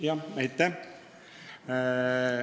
Jah, aitäh!